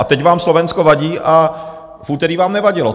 A teď vám Slovensko vadí a v úterý vám nevadilo.